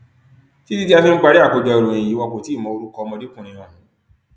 títí tí a fi ń parí àkójọ ìròyìn yìí wọn kò tí ì mọ orúkọ ọmọdékùnrin ọhún